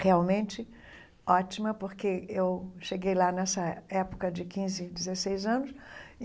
Realmente ótima, porque eu cheguei lá nessa época de quinze, dezesseis anos.